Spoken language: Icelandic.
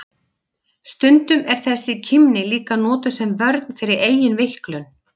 Stundum er þessi kímni líka notuð sem vörn fyrir eigin veiklun.